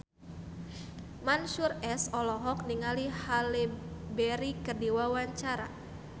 Mansyur S olohok ningali Halle Berry keur diwawancara